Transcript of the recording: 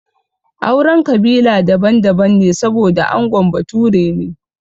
Auren kabila daban daban ne saboda angon bature ne